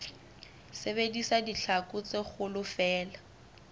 sebedisa ditlhaku tse kgolo feela